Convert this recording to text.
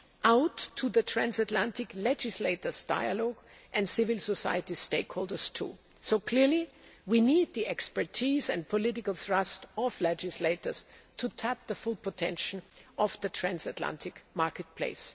out to the transatlantic legislators' dialogue and civil society stakeholders, too, so clearly we need the expertise and political thrust of legislators to tap the full potential of the transatlantic market place.